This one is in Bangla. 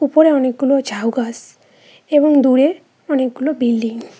উপরে অনেকগুলো ঝাউ গাছ এবং দূরে অনেকগুলো বিল্ডিং ।